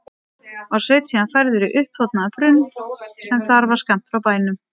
Var Sveinn síðan færður í uppþornaðan brunn sem þar var skammt frá bænum.